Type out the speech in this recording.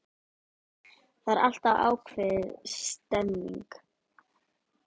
Það er alltaf ákveðin stemmning yfir því.